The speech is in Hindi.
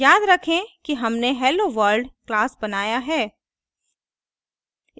याद रखें कि हमने helloworld class बनाया है